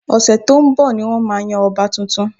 Ọ̀sẹ̀ tó ń bọ̀ ni wọ́n máa yan ọba tuntun